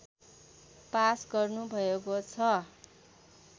pass गर्नुभएको छ